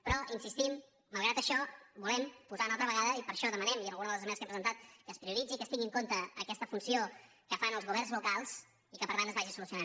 però hi insistim malgrat això volem posar·ho una al·tra vegada i per això demanem i en alguna de les esmenes que hem presentat que es prioritzi i que es tingui en compte aquesta funció que fan els governs locals i que per tant es vagi solucionant